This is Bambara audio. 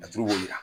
Laturu b'o yira